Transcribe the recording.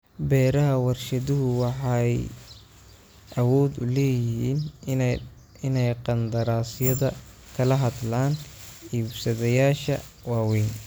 Beeraha warshaduhu waxay awood u leeyihiin inay qandaraasyada kala hadlaan iibsadayaasha waaweyn.